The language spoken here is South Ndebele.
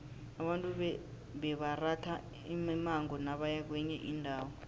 abantu bebaratha imimango nabaya kwenye indawo